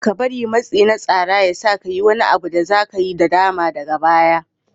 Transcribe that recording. Kada ka bari matsi na tsara ya sa ka yi wani abu da za ka yi nadama daga baya.